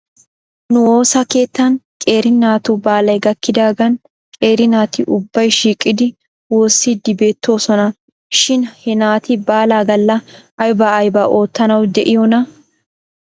Nu woosa keettan qeeri naatu baalay gakkidaagan qeeri naati ubbay shiiqidi woossiidi beettoosona shin he naati baalaa galla aybaa aybaa oottanaw de'iyoonaa?